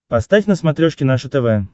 поставь на смотрешке наше тв